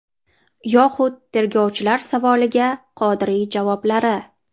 Yoxud tergovchilar savoliga Qodiriy javoblari.